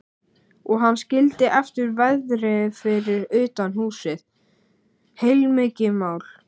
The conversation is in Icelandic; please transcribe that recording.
Og hann skildi eftir verði fyrir utan húsið, heilmikið mál.